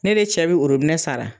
Ne de cɛ bɛ orobinɛ sara